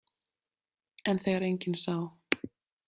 En þegar enginn sá?